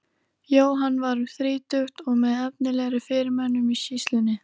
Jóhann var um þrítugt og með efnilegri fyrirmönnum í sýslunni.